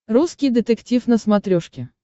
русский детектив на смотрешке